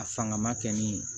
A fanga ma kɛ min ye